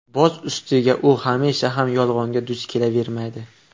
Boz ustiga u hamisha ham yolg‘onga duch kelavermaydi.